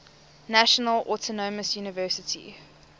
national autonomous university